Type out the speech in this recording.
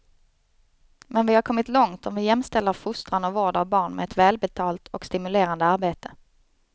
Men vi har kommit långt om vi jämställer fostran och vård av barn med ett välbetalt och stimulerande arbete.